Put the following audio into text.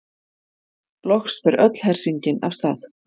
Loks fer öll hersingin af stað.